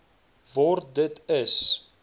word dit is